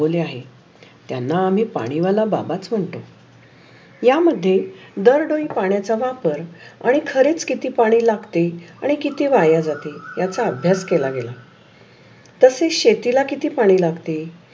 त्यान्ना आम्ही पाणी वाला बाबच मनतो. या मध्ये दर डोळी पाण्याचा वापर आणि खरेच किती पाणी लागते. आणि किती वाया जाते. याच अभ्यास केला. तशेच शेताला किती पाणी लागते.